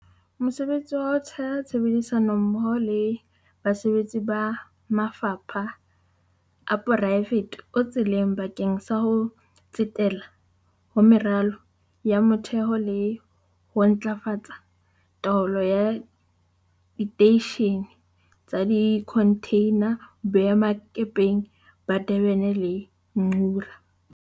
Mosebetsi wa ho theha tshebedisano mmoho le basebetsi ba mafapha a poraefete o tseleng bakeng sa ho tsetela ho meralo ya motheho le ho ntlafatsa taolo ya diteishene tsa dikhonthina boemakepeng ba Durban le ba Ngqura.